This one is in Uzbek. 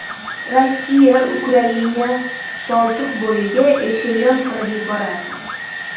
Rossiya, Ukraina, Boltiqbo‘yiga eshelon qilib yuborardik.